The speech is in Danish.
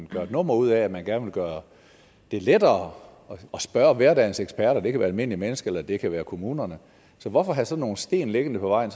gør et nummer ud af at man gerne vil gøre det lettere at spørge hverdagens eksperter det kan være almindelige mennesker eller det kan være kommunerne så hvorfor have sådan nogle sten liggende på vejen